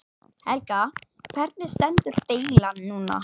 Helga: Hvernig stendur deilan núna?